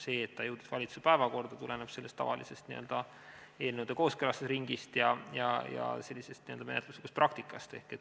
See, millal see jõudis valitsuse päevakorda, tuleneb tavalisest eelnõude kooskõlastusringist ja menetluslikust praktikast.